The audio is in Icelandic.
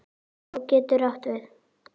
Á getur átt við